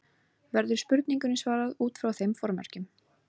Verður spurningunni svarað út frá þeim formerkjum.